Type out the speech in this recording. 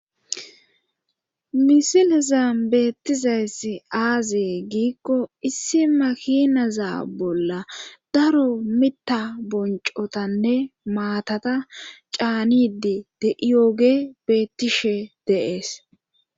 misilezan beettizayss aazee giikko issi makinaza bolla daro mita boncotanne maatata caanidi de7iyoge bettishe deees